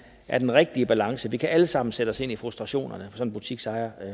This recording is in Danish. er den rigtige balance vi kan alle sammen sætte os ind i frustrationerne som butiksejer